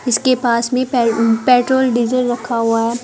इसके पास में पे पेट्रोल डीजल रखा हुआ है।